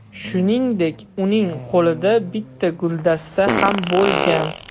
Shuningdek, uning qo‘lida bitta guldasta ham bo‘lgan.